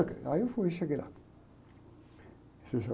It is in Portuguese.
Aí eu fui, cheguei lá.